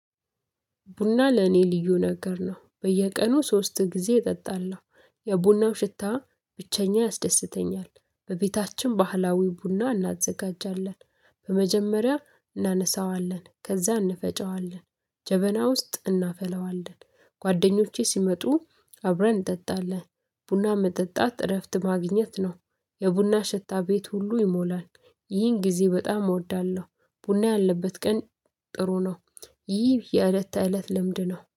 ቡና ለኔ ልዩ ነገር ነው በየቀኑ ሶስት ጊዜ እጠጣለሁ። የቡናው ሽታ ብቸኛ ያስደስተኛል በቤታችን ባህላዊ ቡና እናዘጋጃለን። በመጀመሪያ እናነሳዋለን ከዛ እንፈጨዋለን ጀበና ውስጥ እናፈለዋለን። ጓደኞቼ ሲመጡ አብረን እንጠጣለን። ቡና መጠጣት እረፍት ማግኘት ነው። የቡና ሽታ ቤት ሁሉ ይሞላል። ይህን ጊዜ በጣም እወዳለሁ። ቡና ያለበት ቀን ጥሩ ነው። ይህ የእለት ተእለት ልምድ ነው